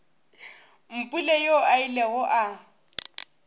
mpule yoo a ilego a